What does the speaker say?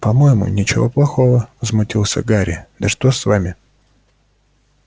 по-моему ничего плохого возмутился гарри да что с вами